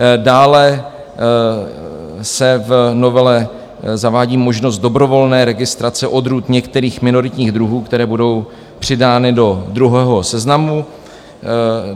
Dále se v novele zavádí možnost dobrovolné registrace odrůd některých minoritních druhů, které budou přidány do druhého seznamu.